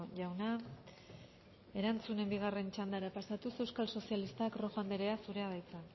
jauna erantzunen bigarren txandara pasatuz euskal sozialistak rojo andrea zurea da hitza